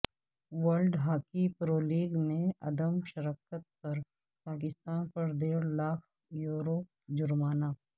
world hockey pro league میں عدم شرکت پر پاکستان پر ڈیڑھ لاکھ یورو جرمانہ